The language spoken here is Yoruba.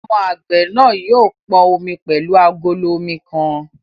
Ọmọ àgbẹ̀ náà yóò pọn omi pẹ̀lú agolo omi kan